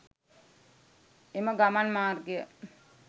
එම ගමන් මාර්ගය